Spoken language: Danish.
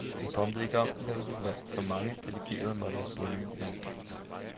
Jeg drømte ikke om, at jeg ville blive valgt, for mange delegerede måtte have bundet mandat.